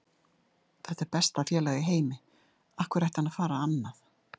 Þetta er besta félag í heimi, af hverju ætti hann að fara annað?